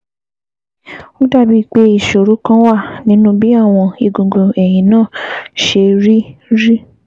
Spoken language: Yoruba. Ó dàbíi pé ìṣòro kan wà nínú bí àwọn egungun ẹ̀yìn náà ṣe rí rí